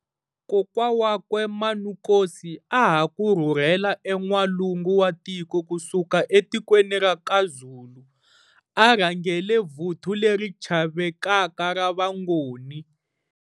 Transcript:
Kokwa wakwe Manukosi a a ha ku rhurhela en'walungu wa tiko ku suka etikweni ra kaZulu, a a rhangele vuthu leri chavekaka ra Vangoni.